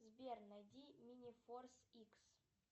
сбер найди мини форс икс